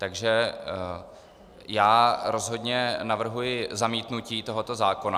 Takže já rozhodně navrhuji zamítnutí tohoto zákona.